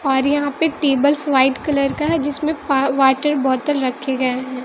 और यहां पे टेबल्स व्हाइट कलर का है जिसमें पा वाटर बॉटल रखे गए हैं।